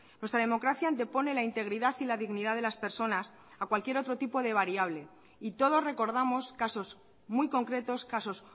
nuestra democracia antepone la integridad y la dignidad de las personas a cualquier otro tipo de variable y todos recordamos casos muy concretos casos